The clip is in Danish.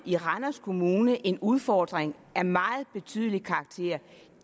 i randers kommune en udfordring af meget betydelig karakter